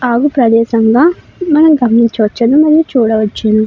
ఆగు ప్రదేశంలా మనం గమనించవచ్చును. మరియు చూడవచ్చును.